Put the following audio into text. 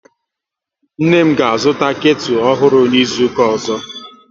Nne m ga azụta ketu ọhụrụ n'izuka ọzọ